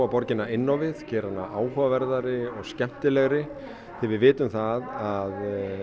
borgina inn á við gera hana áhugaverðari og skemmtilegri því við vitum það að